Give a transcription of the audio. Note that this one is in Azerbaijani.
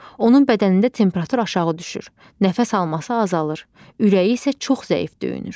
Onun bədənində temperatur aşağı düşür, nəfəs alması azalır, ürəyi isə çox zəif döyünür.